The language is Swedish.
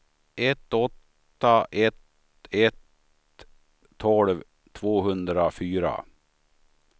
ett åtta ett ett tolv tvåhundrafyra